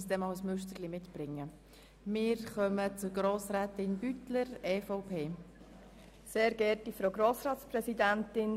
Ich habe fast den Eindruck, Sie sollten uns einmal ein Müsterchen mitbringen.